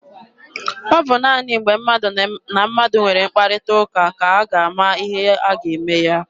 Ọ bụ naanị mgbe mmadụ na mmadụ nwere mkparịta ụka ka a ga-ama ihe a ga-eme.